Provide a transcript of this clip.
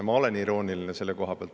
Ma olen selle koha pealt irooniline.